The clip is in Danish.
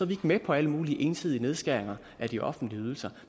vi ikke med på alle mulige ensidige nedskæringer af de offentlige ydelser